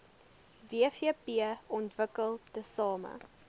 wvp ontwikkel tesame